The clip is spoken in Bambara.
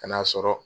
Kan'a sɔrɔ